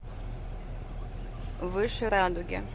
выше радуги